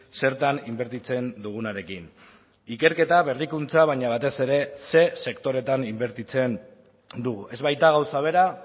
zertan inbertitzen dugunarekin ikerketa berrikuntza baina batez ere ze sektoretan inbertitzen dugu ez baita gauza bera